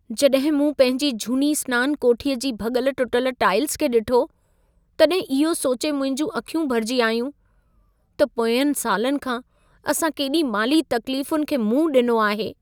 जॾहिं मूं पंहिंजी झूनी सनान कोठीअ जी भॻल टुटल टाइल्स खे ॾिठो, तॾहिं इहो सोचे मुंहिंजूं अखियूं भरिजी आयूं, त पोयंनि सालनि खां असां केॾी माली तक़्लीफुनि खे मुंहं ॾिनो आहे।